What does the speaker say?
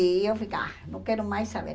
E eu fiquei, ah não quero mais saber.